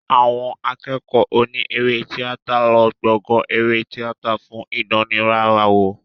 Àwọn akẹ́kọ̀ọ́ oní eré tíátà ń lò gbọ̀gàn eré tíátà fún ìdánrawò.